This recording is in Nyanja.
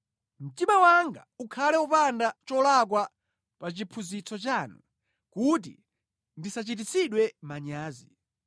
Mtima wanga ukhale wopanda cholakwa pa chiphunzitso chanu kuti ndisachititsidwe manyazi.